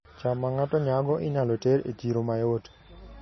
cham ma ng'ato nyago inyalo ter e chiro mayot